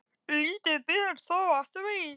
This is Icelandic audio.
Lítið ber þó á því.